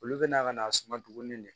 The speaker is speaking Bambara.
Olu bɛna ka n'a suma duguni de